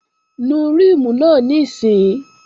Nu ríìmù náà níìsín!